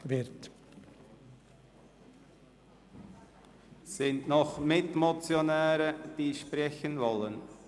Gibt es noch Mitmotionäre, die sprechen möchten?